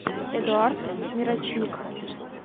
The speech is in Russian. эдуард мирочник